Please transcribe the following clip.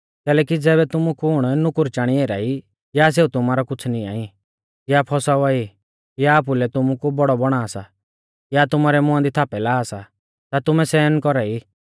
कैलैकि ज़ैबै तुमु कुण नुकुर चाणी एरा ई या सेऊ तुमारौ कुछ़ निंया ई या फौसावा ई या आपुलै तुमु कु बौड़ौ बौणा सा या तुमारै मुंआ दी थापै ला सा ता तुमैं सहन कौरा ई